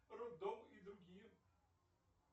роддом и другие